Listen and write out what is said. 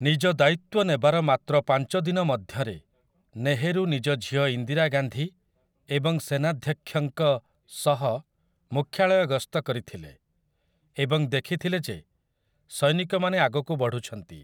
ନିଜ ଦାୟିତ୍ୱ ନେବାର ମାତ୍ର ପାଞ୍ଚ ଦିନ ମଧ୍ୟରେ ନେହେରୁ ନିଜ ଝିଅ ଇନ୍ଦିରା ଗାନ୍ଧୀ ଏବଂ ସେନାଧ୍ୟକ୍ଷଙ୍କ ସହ ମୁଖ୍ୟାଳୟ ଗସ୍ତ କରିଥିଲେ ଏବଂ ଦେଖିଥିଲେ ଯେ ସୈନିକମାନେ ଆଗକୁ ବଢ଼ୁଛନ୍ତି ।